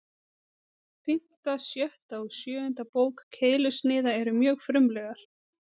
Fimmta, sjötta og sjöunda bók Keilusniða eru mjög frumlegar.